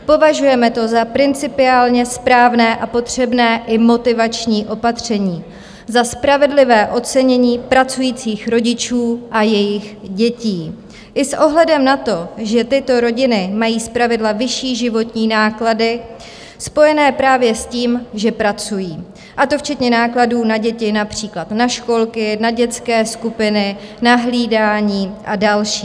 Považujeme to za principiálně správné a potřebné i motivační opatření, za spravedlivé ocenění pracujících rodičů a jejich dětí, i s ohledem na to, že tyto rodiny mají zpravidla vyšší životní náklady spojené právě s tím, že pracují, a to včetně nákladů na děti, například na školky, na dětské skupiny, na hlídání a další.